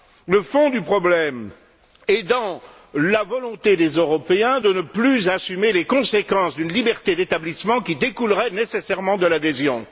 Le fond du problème réside dans la volonté des Européens de ne plus assumer les conséquences d'une liberté d'établissement qui découlerait nécessairement de l'adhésion.